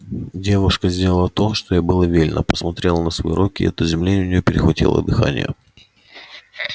девушка сделала то что ей было велено посмотрела на свои руки и от изумления у неё перехватило дыхание